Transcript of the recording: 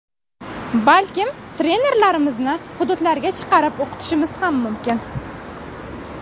Balkim, trenerlarimizni hududlarga chiqarib o‘qitishimiz ham mumkin.